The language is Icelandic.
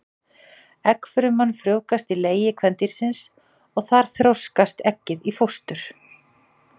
Eggfruman frjóvgast í legi kvendýrsins og þar þroskast eggið í fóstur.